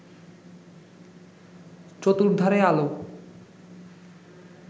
চতুর্ধারে আলো